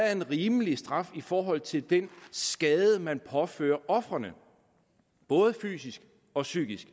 er en rimelig straf i forhold til den skade man påfører ofrene både fysisk og psykisk